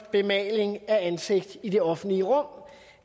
bemaling af ansigt i det offentlige rum